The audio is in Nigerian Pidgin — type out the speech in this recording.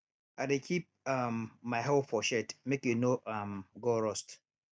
i dey keep um my hoe for shed make e no um go rust